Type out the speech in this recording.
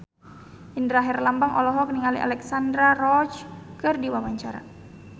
Indra Herlambang olohok ningali Alexandra Roach keur diwawancara